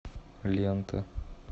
лента